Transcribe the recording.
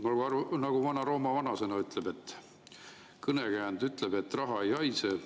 Nagu ütleb Vana-Rooma vanasõna või kõnekäänd, et raha ei haise.